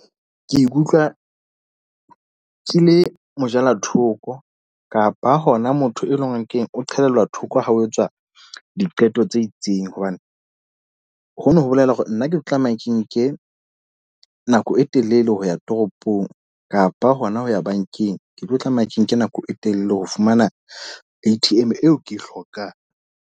Ke ikutlwa ke le mojalathoko, kapa hona motho e leng hore keng o qhelelwa thoko ha ho etswa diqeto tse itseng. Hobane ho no ho bolela hore nna ke tlameha ke nke nako e telele ho ya toropong kapa hona ho ya bankeng. Ke tlo tlameha ke nke nako e telele ho fumana A_T_M eo ke e hlokang.